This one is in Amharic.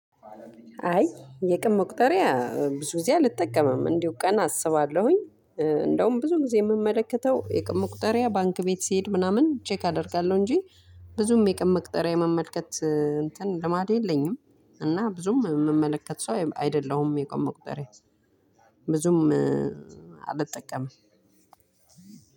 አይ የቀን መቁጠሪያ ብዙ ጊዜ አልጠቀምም እንዲሁ ቀን አስባለሁኝ። እንደውም ብዙ ጊዜ የምመለከተው የቀን መቁጠሪያ ባንክ ቤት ሲሄድ ምናምን ቼክ አደርጋለሁ እንጂ። ብዙም የቀን መቁጠሪያ የመመልከት እንትን ልማድ የለኝም። እና ብዙም የምመለከት ሰው አይደለሁም። የቀን መቁጠሪያ ብዙም አልጠቀምም።